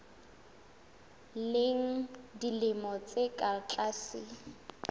leng dilemo tse ka tlase